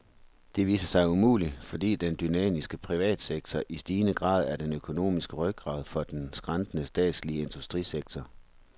Det viste sig umuligt, fordi den dynamiske privatsektor i stigende grad er den økonomiske rygrad for den skrantende statslige industrisektor.